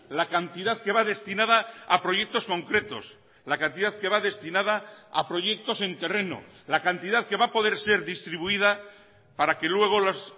la cantidad que va destinada a proyectos concretos la cantidad que va destinada a proyectos en terreno la cantidad que va a poder ser distribuida para que luego las